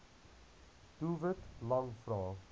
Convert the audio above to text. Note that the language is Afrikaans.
doelwit lang vrae